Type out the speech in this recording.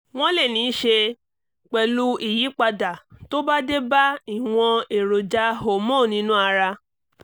wọ́n lè ní í ṣe pẹ̀lú ìyípadà tó bá dé bá ìwọ̀n èròjà hormone inú ara